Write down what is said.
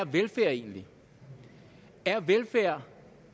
velfærd egentlig er